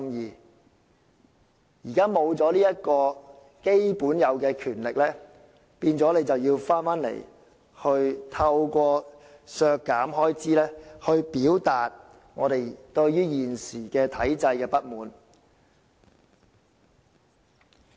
現在立法會沒有這項應有的基本權力，於是我們要透過提出削減開支來表達我們對現時體制的不滿。